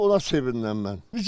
Bir ona sevinirəm mən.